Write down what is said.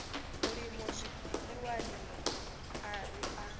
mulimo zwiḽiwani a ri a